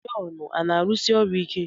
Jọn a na-arụsi ọrụ ike?